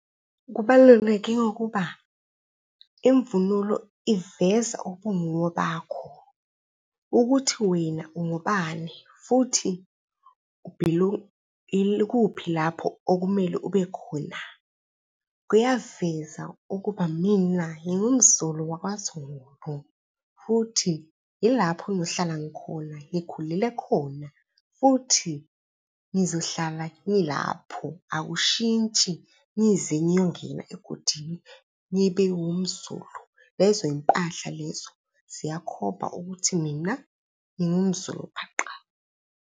Kubaluleke ngokuba imvunulo iveza ubunguwe bakho ukuthi wena ungubani futhi yikuphi lapho okumele ube khona. Kuyaveza ukuba mina ngingumZulu wakwaZulu, futhi yilapho ngiyohlala ngikhona, ngikhulele khona futhi ngizohlala ngilapho akushintshi ngize ngiyongena egodini ngibe ngumZulu. Lezo y'mpahla lezo ziyakhomba ukuthi mina ngingumZulu phaqa.